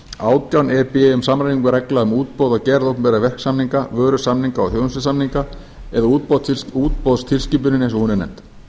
átján e b um samræmingu reglna um útboð og gerð opinberra verksamninga vörusamninga og þjónustusamninga eða útboðstilskipunin án og hún er nefnd